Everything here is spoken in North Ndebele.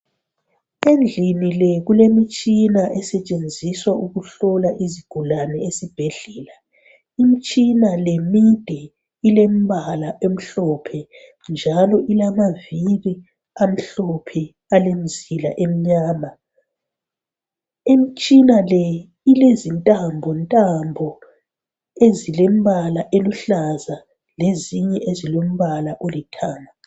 endlini le kulemitshina esetshenziswa ukuhlola izigulane ezibhedlela imitshina le mide ilemibala emhlophe njalo ilamaviri amhlophe alemizila eminyama, imitshina le ilezintambo ntambo ezilembala eluhlaza lezinye ezilombalo olithanga